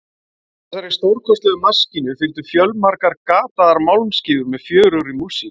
Með þessari stórkostlegu maskínu fylgdu fjölmargar gataðar málmskífur með fjörugri músík.